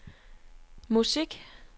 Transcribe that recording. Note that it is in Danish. musik